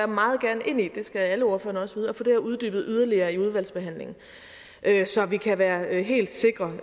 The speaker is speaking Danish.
meget gerne ind i det skal alle ordførerne også vide at få det her uddybet yderligere i udvalgsbehandlingen så vi kan være helt sikre